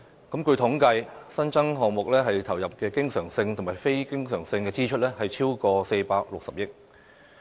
據統計，新增項目投入的經常性及非經常性支出，超過460億元。